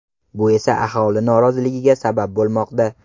Bu esa aholi noroziligiga sabab bo‘lmoqda.